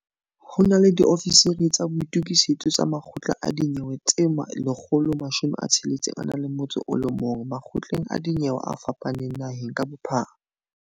Ho na le diofisiri tsa boitukisetso ba makgotla a dinyewe tse 161 makgotleng a dinyewe a fapaneng naheng ka bophara.